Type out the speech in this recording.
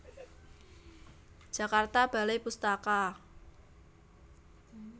Jakarta Balai Pustaka